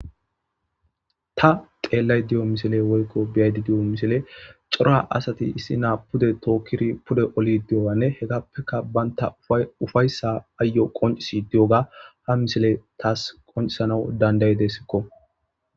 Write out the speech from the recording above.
Ta qeellay di'o misile woykko biyaydi di'o misile xora asati issi naa pude tookkiri pude oli di'oganne hekappeka banta ufayssa aayo qoncisi di'oga ha misile taas qoncisanau dandayidessikko.